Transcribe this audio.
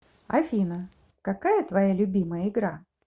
афина какая твоя любимая игра